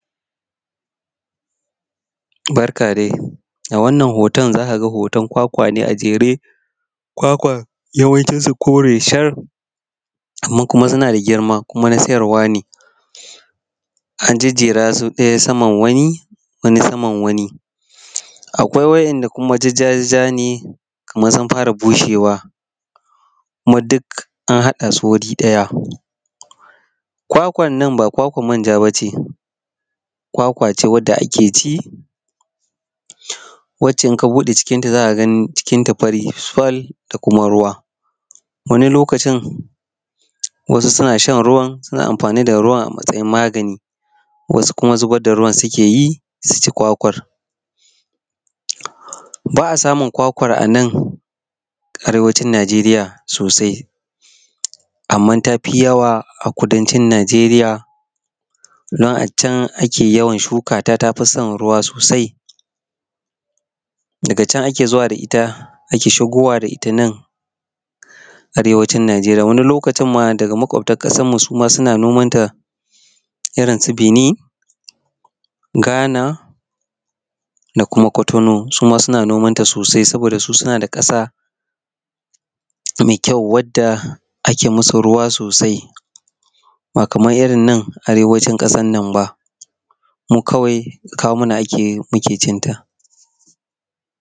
Barka dai a wannan hoton za ka ga hoton kwakwa ne a jere za ka ga yawancin su kore ne shar amma kuma suna da girma kuma na sayarwa ne an jajjera su wani saman wani akwai waɗanda ja ja ne kuma sun fara bushew kuma duk an haɗa du wuri ɗaya. Kwakwan nan ba kwakwar manja ba ce, kwakwa ce wacce ake ci idana ka bude cikin ta za ka cikinta fari sal da kuma ruwa. Wani lokaci wasu sun a shan ruwan kuma suna amfani da ruwan a matsayin magani. Wasu kuma zubar da ruwan suke yi su ci kwakwar. Ba a samun kwakwar a nan Arewacin Nijeriya sosai, amma tafi yawa a kudancin Nijeriya inda ake yawan shukata ta fi son ruwa sosai. Daga can ake zuwa da ita ana shigowa da ita nan Arewacin Nijeriya, wani lokacin ma daga maƙwabtan kasar mu suna shigowa da ita irin su Benin, Ghana da kuma kwatano su ma suna nomanta sosai. Sbod su suna da ƙasa mai ƙyau wanda ake musu ruwa sosai ba kamar irin na Arewacin ƙasar nan ba. Mu kawai kawo mana ake muke cinta.